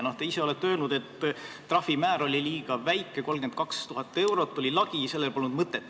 Te ise olete öelnud, et trahvimäär oli liiga väike, 32 000 eurot oli lagi ja sellel polnud mõtet.